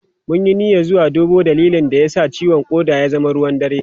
Mun yi niyyar zuwa duba dalilin da ya sa ciwon koda ya zama ruwan dare.